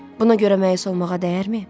Buna görə məyus olmağa dəyərmi?